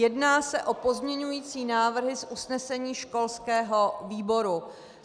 Jedná se o pozměňovací návrhy z usnesení školského výboru.